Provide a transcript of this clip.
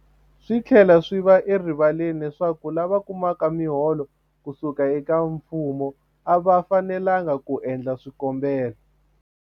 Swi tlhela swi va erivaleni leswaku lava kumaka miholo ku suka eka mfumo a va fanelanga ku endla swikombelo.